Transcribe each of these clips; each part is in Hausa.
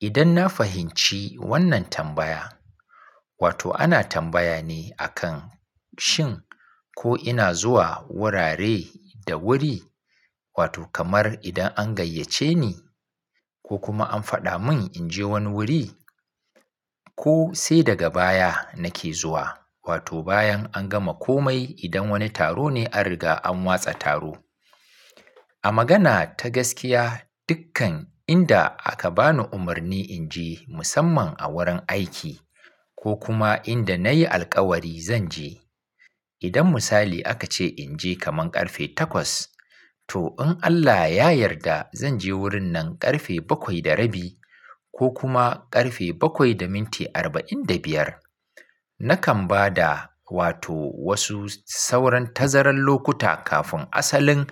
Idan na fahimci wannan tambaya, wato ana tambaya ne akan shin ko ina zuwa wurare da wuri, wato kamar idan an gayyace ni ko kuma an faɗa mun in je wani wuri ko sai daga baya nake zuwa. Wato bayan an gama komai idan wani taro ne an riga an watsa taro. A magana ta gaskiya, dukkan inda aka bani umarni in je musamman a wurin aiki ko kuma inda na yi alkawari zan je. Idan misali aka ce in je kaman karfe takwas, to in Allah ya yarda zan je wurin nan karfe bakwai da rabi ko kuma karfe bakwai da minti arba'in da biyar. Nakan ba da wato wasu sauran tazarar lokuta kafin asalin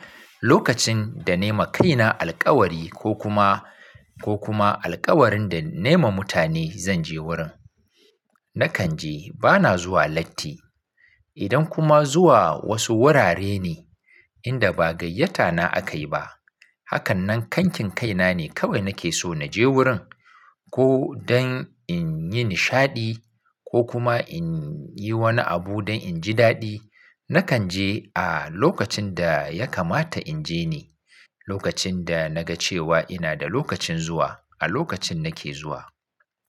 lokacin da nai ma kaina alkawari ko kuma, ko kuma alkawarin da nai ma mutane zan je wurin. Nakan je bana zuwa latti. Idan kuma zuwa wasu wurare ne inda ba gayyata na aka yi ba, hakanan kankin kaina ne kawai nake so na je wurin ko don in yi nishaɗi ko kuma in yi wani abu don in ji daɗi. Nakan je a lokacin da ya kamata in je ni, lokacin da na ga cewa ina da lokacin zuwa, a lokacin nake zuwa.